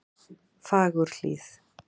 Fagurhlíð